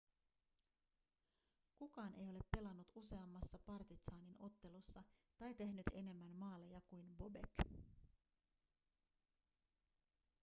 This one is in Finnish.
kukaan ei ole pelannut useammassa partizanin ottelussa tai tehnyt enemmän maaleja kuin bobek